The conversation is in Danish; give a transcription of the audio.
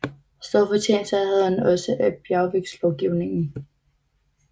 Store fortjenester havde han også af bjergværkslovgivningen